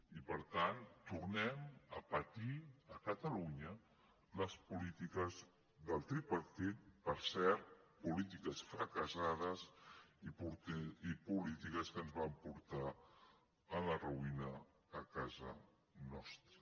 i per tant tornem a patir a catalunya les polítiques del tripartit per cert polítiques fracassades i polítiques que ens van portar a la ruïna a casa nostra